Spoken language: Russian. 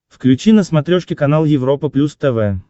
включи на смотрешке канал европа плюс тв